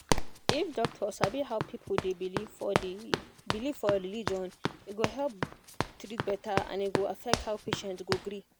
if doctor sabi how people dey believe for dey believe for religion e go help treat better and e go affect how patient go gree